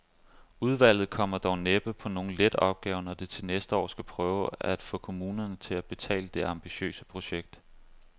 Udvalget kommer dog næppe på nogen let opgave, når det til næste år skal prøve at få kommunerne til at betale det ambitiøse projekt.